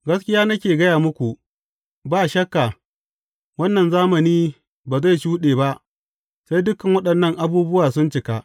Gaskiya nake gaya muku, ba shakka, wannan zamani ba zai shuɗe ba, sai dukan waɗannan abubuwa sun cika.